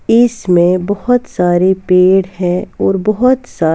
इसमें बोहोत सारे पेड़ हैं और बोहोत सा --